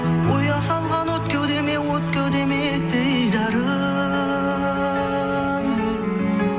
ұя салған от кеудеме от кеудеме дидарың